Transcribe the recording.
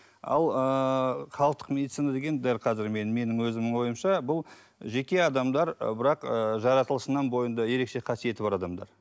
ал ыыы халықтық медицина деген дәл қазір мен менің өзімнің ойымша бұл жеке адамдар ы бірақ ыыы жаратылысынан бойында ерекше қасиеті бар адамдар